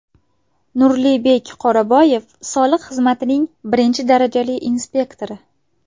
Nurlibek Qoraboyev Soliq xizmatining I darajali inspektori.